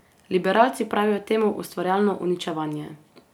Liberalci pravijo temu ustvarjalno uničevanje.